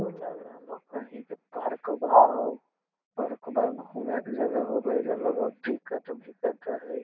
तो लग रहलो है कही के पार्कवा हउ | पार्कवा घूमे के जगह हाउ एजा लगो हो टिकट भि कट हई |